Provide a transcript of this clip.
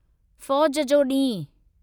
फौज जो ॾींहुं